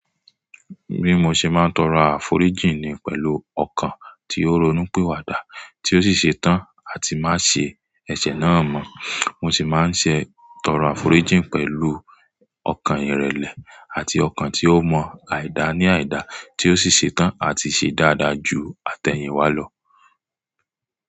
Bí mo ṣe máa ń tọrọ àforíjìn ni pẹ̀lú ọkàn tí ó ronúpìwàdà, tí ó sì ṣe tán àti má ṣe ẹ̀ṣẹ̀ náà mọ́. Mo sì máa ń ṣe tòro àforíjìn pẹ̀lú ọkàn ìrẹ̀lẹ̀ àti ọkàn tí ó mọ àìda ní àìda, tí ó sì ṣe tán àti ṣe dáadáa jù àtẹ̀yìnwá lọ.